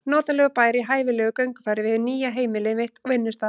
Notalegur bær í hæfilegu göngufæri við hið nýja heimili mitt og vinnustað.